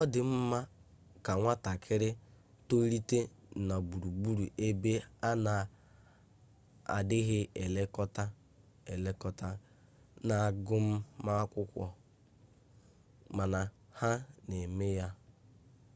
ọ dị mma ka nwatakịrị tolite na gburugburu ebe a na-adịghị elekọta elekọta na agụmakwụkwọ mana ha na-eme ya